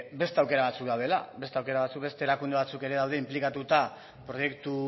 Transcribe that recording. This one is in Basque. beste aukera batzuk daudela beste aukera batzuk beste erakunde batzuk ere daude inplikatuta proiektu